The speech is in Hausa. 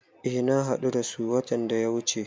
Eh na hadu da su watan da ya wuche.